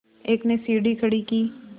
एक ने सीढ़ी खड़ी की